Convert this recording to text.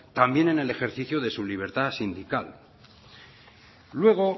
también en el ejercicio de su libertad sindical luego